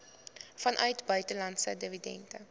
vanuit buitelandse dividende